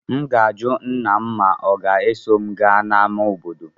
M ga-ajụ nna m ma ọ ga-eso m gaa n'ámá obodo.